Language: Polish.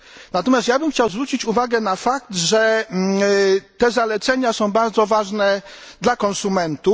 Natomiast ja chciałbym zwrócić uwagę na fakt, że te zalecenia są bardzo ważne dla konsumentów.